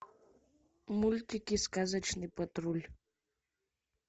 мультики сказочный патруль